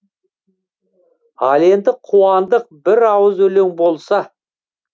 ал енді қуандық бір ауыз өлең болса